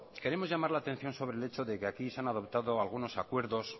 queremos llamar la atención sobre el hecho de que aquí se han adoptado algunos acuerdo